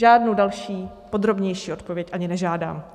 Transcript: Žádnou další podrobnější odpověď ani nežádám.